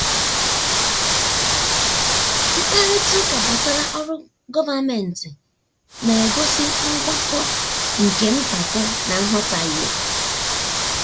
mkparịta ụka gbasara ọrụ gọvanmentị na-egosi ngwakọta nke mpako na nghọtahie.